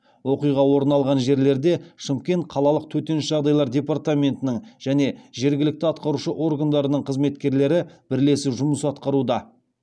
оқиға орын алған жерлерде шымкент қалалық төтенше жағдайлар департаментінің және жергілікті атқарушы органдарының қызметкерлері бірлесіп жұмыс атқаруда